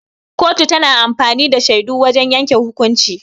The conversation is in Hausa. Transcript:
Kotu tana amfani da shaidu wajan yanke hukunci.